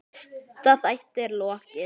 Fyrsta þætti er lokið.